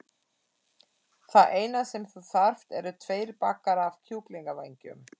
Það eina sem þú þarft eru tveir bakkar af kjúklingavængjum.